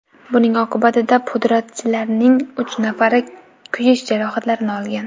Buning oqibatida pudratchilarning uch nafari kuyish jarohatlarini olgan.